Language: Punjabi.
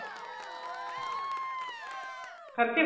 ਖ਼ਰਚੇ